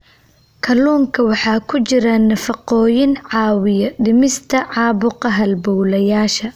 Kalluunka waxaa ku jira nafaqooyin caawiya dhimista caabuqa halbowlayaasha.